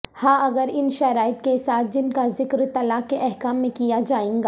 ہاں اگرا ن شرائط کے ساتھ جن کاذکر طلاق کے احکام میں کیا جائے گا